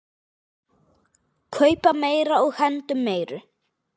Kaupa meira og hendum meiru.